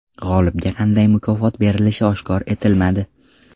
G‘olibga qanday mukofot berilishi oshkor etilmadi.